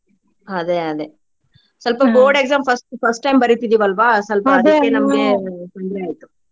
ಅದೆ ಅದೆ ಸ್ವಲ್ಪ board exam first first time ಬರಿತಿದೀವಿ ಅಲ್ವಾ ಸ್ವಲ್ಪ ಅದಕ್ಕೆ ನಮ್ಗೆ ತೊಂದ್ರೆ ಆಯ್ತು.